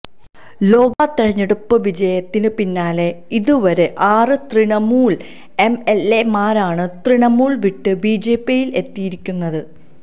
ലോക്സഭ തിരഞ്ഞെടുപ്പ് വിജയത്തിന് പിന്നാലെ ഇതുവരെ ആറ് തൃണമൂല് എംഎല്എമാരാണ് തൃണമൂല് വിട്ട് ബിജെപിയില് എത്തിയിരിക്കുന്നത്